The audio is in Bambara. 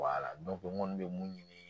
n kɔni bɛ mun ɲini